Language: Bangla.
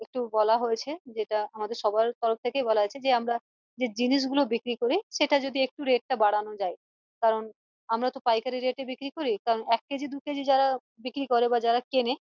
একটু বলা হয়েছে যেটা আমাদের সবার তরফ থেকেই বলা হয়েছে যে আমরা যে জিনিস গুলো বিক্রি করি সেটার যদি rate টা একটু বাড়ানো যাই কারন আমরা তো পাইকারি rate এ বিক্রি করি কারণ এক কেজি দু কেজি যারা বিক্রি করে বা যারা কেনে